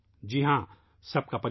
جی ہاں ، سب کی کوشش